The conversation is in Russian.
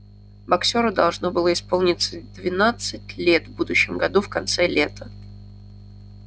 боксёру должно было исполниться двенадцать лет в будущем году в конце лета